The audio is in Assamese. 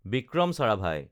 বিক্ৰম চাৰাভাই